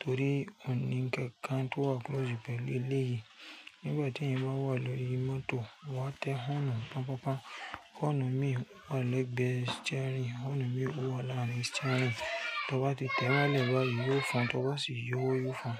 torí ó ní ǹkan kan tó wà close pẹ̀lú eléyìí. Nígbà tí ẹ̀yin bá wà lórí mọ́tò, wà á tẹ họ́nù pọ́npọ́n. Họ́nù mí wà lẹ́gbẹ̀ẹ́ steering, họ́nù mí wà láàárín steering. Tó bá ti tẹ wá lẹ́bàá yìí, yóò fọn, tó bá sì yọ wá, yóò fọn.